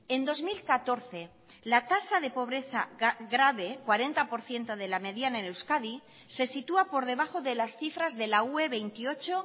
en dos mil catorce la tasa de pobreza grave cuarenta por ciento de la mediana en euskadi se sitúa por debajo de las cifras de la ue veintiocho